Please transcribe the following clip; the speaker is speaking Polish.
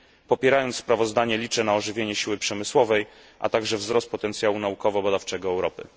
Popierając sprawozdanie, liczę na ożywienie siły przemysłowej, a także wzrost potencjału naukowo badawczego Europy.